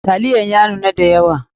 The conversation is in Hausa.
Taliyan ya nuna da yawa.